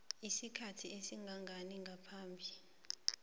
isikhathi esingangani ngaphambi